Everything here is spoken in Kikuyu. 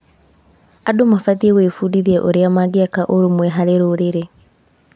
Andũ mabatiĩ gwĩbundithia ũrĩa mangĩaka ũrũmwe harĩ rũrĩrĩ.